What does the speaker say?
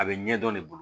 A bɛ ɲɛdɔn ne bolo